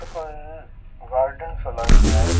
ओ कोई गार्डन सो लाग रेहो है।